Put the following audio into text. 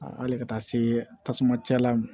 A hali ka taa se tasuma cɛ la